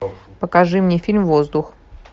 покажи мне фильм воздух